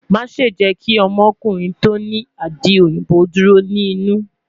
Maṣe jẹ ki ọmọkunrin ti o ni adi oyinbo duro ni inu